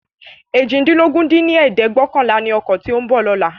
eéjìdínlógún dín ní ẹ̀ẹ́dẹ́gbẹ́ọ̀kànlá ni ọkọ tí ó ń bọ̀ lóla